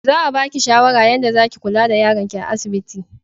Za a baki shawara yanda zaki kulla da yaron ki a asibiti